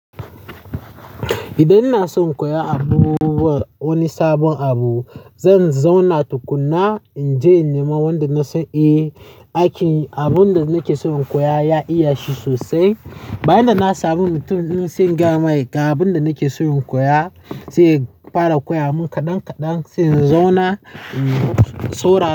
Idan ina son in koya abubuwa, wani sabon abu, zan zauna tukuna in je in nema wanda na san eh, aikin abun da nake so in koya ya iya shi sosai. Bayan da na sami mutumin da zai gayamai ga abun da nake so in koya, zai fara koya mun kadan kadan sai in zauna, in sourara.